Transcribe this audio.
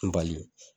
N bali